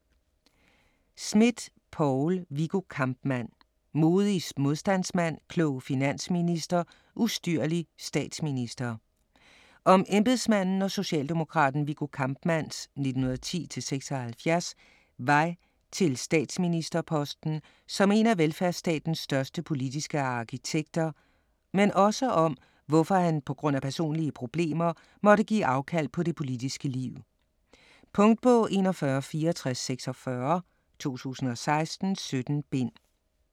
Smidt, Poul: Viggo Kampmann: modig modstandsmand, klog finansminister, ustyrlig statsminister Om embedsmanden og socialdemokraten Viggo Kampmanns (1910-1976) vej til statsministerposten som en af velfærdstatens største politiske arkitekter, men også om hvorfor han pga. personlige problemer måtte give afkald på det politiske liv. Punktbog 416446 2016. 17 bind.